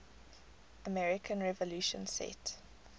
american revolution set